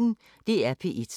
DR P1